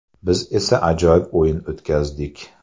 Biz esa ajoyib o‘yin o‘tkazdik.